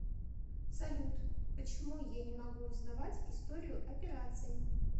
салют почему я не могу узнавать историю операций